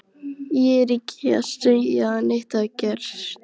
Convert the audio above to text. Ég er ekki að segja að neitt hafi gerst.